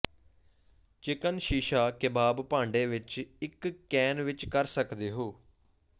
chicken shish kebab ਭਾਂਡੇ ਵਿੱਚ ਇੱਕ ਕੈਨ ਵਿੱਚ ਕਰ ਸਕਦੇ ਹੋ